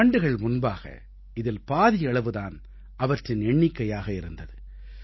சில ஆண்டுகள் முன்பாக இதில் பாதியளவு தான் அவற்றின் எண்ணிக்கையாக இருந்தது